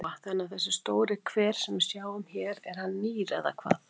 Lóa: Þannig að þessi stóri hver sem við sjáum hér hann er nýr eða hvað?